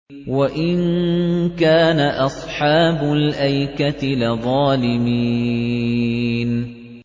وَإِن كَانَ أَصْحَابُ الْأَيْكَةِ لَظَالِمِينَ